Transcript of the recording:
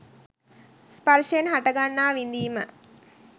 ස්පර්ශයෙන් හටගන්නා විඳීම